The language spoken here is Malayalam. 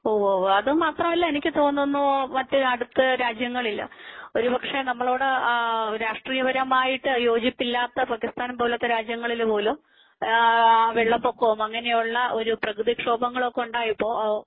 ഉവ് ഉവ് അതുമാത്രമല്ല എനിക്ക് തോന്നുന്നു മറ്റേ അടുത്ത രാജ്യങ്ങളിൽ ഒരുപക്ഷേ നമ്മളോട് രാഷ്ട്രീയപരമായിട്ട് യോജിപ്പിലാത്ത് പാകിസ്ഥാൻ പോലത്തെ രാജ്യങ്ങൾ പോലും വെള്ളപ്പൊക്കവും അങ്ങനെയുള്ള ഒരു പ്രകൃതിക്ഷോഭങ്ങളൊക്കെ ഉണ്ടായപ്പോൾ